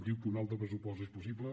diu que un altre pressupost és possible